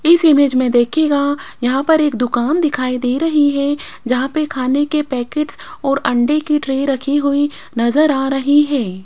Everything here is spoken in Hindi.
इस इमेज मे देखियेगा यहां पर एक दुकान दिखाई दे रही है जहां पर खाने के पैकेट्स और अंडे की ट्रे रखी हुई नजर आ रही है।